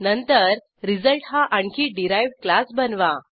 नंतर रिझल्ट हा आणखी डिराइव्ह्ड क्लास बनवा